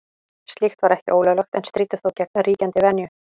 Slíkt var ekki ólöglegt en stríddi þó gegn ríkjandi venju.